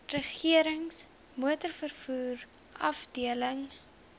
regerings motorvervoer afdeling